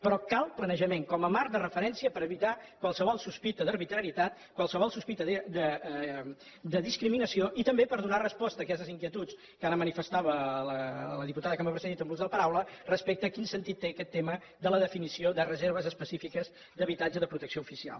però cal planejament com a marc de referència per evitar qualsevol sospita d’arbitrarietat qualsevol sospita de discriminació i també per donar resposta a aquestes inquietuds que ara manifestava la diputada que m’ha precedit en l’ús de la paraula respecte a quin sentit té aquest tema de la definició de reserves específiques d’habitatge de protecció oficial